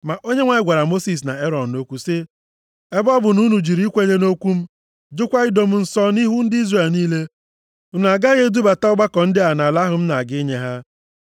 Ma Onyenwe anyị gwara Mosis na Erọn okwu sị, “Ebe ọ bụ na unu jụrụ ikwenye nʼokwu m, jụkwa ido m nsọ nʼihu ndị Izrel niile, unu agaghị edubata ọgbakọ ndị a nʼala ahụ m na-aga inye ha.”